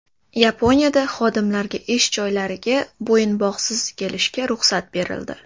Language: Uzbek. Yaponiyada xodimlarga ish joylariga bo‘yinbog‘siz kelishga ruxsat berildi.